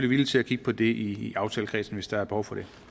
villige til at kigge på det i aftalekredsen hvis der er behov for det